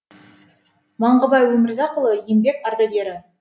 маңғыбай өмірзақұлы еңбек ардагері